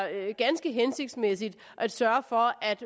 ganske hensigtsmæssigt at sørge for at